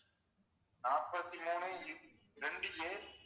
நாப்பத்தி மூணு ரெண்டு A